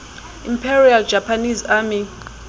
imperial japanese army